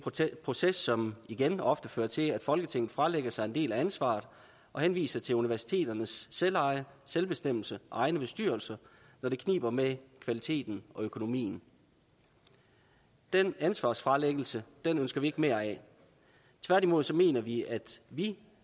proces som igen ofte fører til at folketinget fralægger sig en del af ansvaret og henviser til universiteternes selveje selvbestemmelse og egne bestyrelser når det kniber med kvaliteten og økonomien den ansvarsfralæggelse ønsker vi ikke mere af tværtimod mener vi at vi